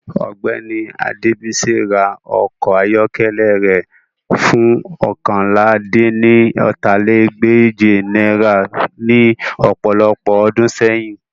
Ọgbẹni Adebisi ra ọkọ ayọkẹlẹ rẹ fun oókànlá-dín-ní-ọ́ta lé ní ẹgbẹ́je naira ni ọpọlọpọ ọdun sẹyin